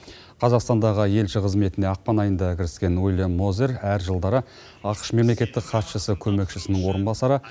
қазақстандағы елші қызметіне ақпан айында кіріскен уильям мозер әр жылдары ақш мемлекеттік хатшысы көмекшісінің орынбасары